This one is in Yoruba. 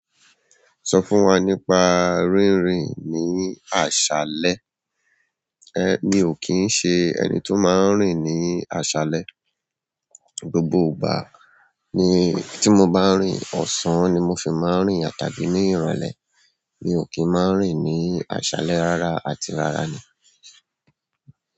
Sọ fún wa nípa rírìn ni àṣálẹ́. Ẹ̀, mi ò kí ń ṣe ẹnì tó máa ń rìn ní àṣálẹ́. Gbogbo ìgbà tí mo bá ń rìn, ọ̀sán ni mo fi máa ń rìn àti ní ìrọ̀lẹ́. Mi ò kí ń máa ń rìn ní àṣálẹ́ rárá, àti rárá ni.